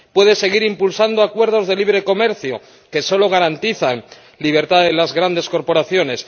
Puede seguir impulsando acuerdos de libre comercio que solo garantizan la libertad de las grandes corporaciones.